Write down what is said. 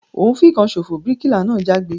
O n fìkan sofo! bíríkìlà náà jágbe